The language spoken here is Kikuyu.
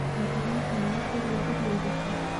Na tũratanya kũrĩa irio irĩkũ?